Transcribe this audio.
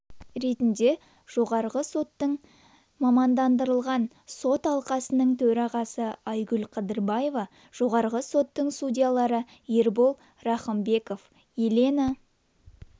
ретінде жоғарғы соттың мамандандырылған сот алқасының төрағасы айгүл қыдырбаева жоғарғы соттың судьялары ербол рахымбеков елена